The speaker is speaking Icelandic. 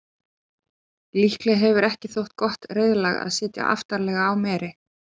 líklega hefur ekki þótt gott reiðlag að sitja aftarlega á meri